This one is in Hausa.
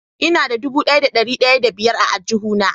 Ina da dubu daya da dari daya da biyar a aljuhu na.